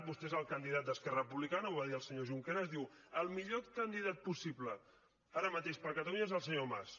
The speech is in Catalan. vostè és el candidat d’esquerra republicana ho va dir el senyor junqueras diu el millor candidat possible ara mateix per a catalunya és el senyor mas